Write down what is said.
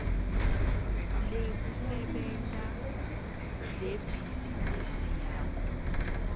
lekusebenta lebhizinisi yakho